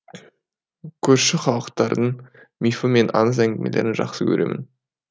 көрші халықтардың мифы мен аңыз әңгімелерін жақсы көремін